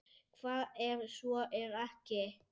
Hvað ef svo er ekki?